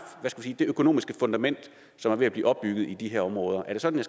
det økonomiske fundament som er ved at blive opbygget i de her områder er det sådan